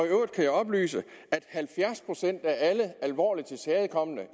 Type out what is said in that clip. øvrigt kan jeg oplyse at halvfjerds procent af alle alvorligt tilskadekomne